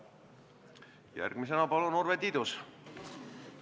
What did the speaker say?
Järgmisena palun Urve Tiidus!